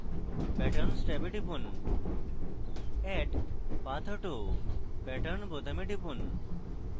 patterns ট্যাবে টিপুন add pathauto pattern বোতামে টিপুন